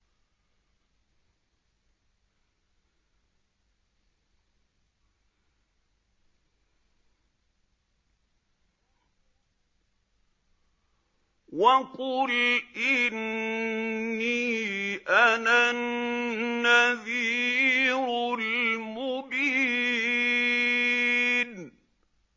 وَقُلْ إِنِّي أَنَا النَّذِيرُ الْمُبِينُ